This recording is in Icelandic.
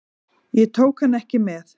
Ég tók hann ekki með.